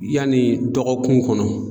Yanni dɔgɔkun kɔnɔ